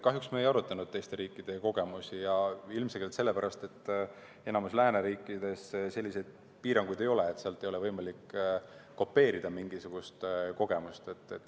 Kahjuks me ei arutanud teiste riikide kogemusi ja ilmselgelt sellepärast, et enamikus lääneriikides selliseid piiranguid ei ole, sealt ei ole võimalik kopeerida mingisugust kogemust.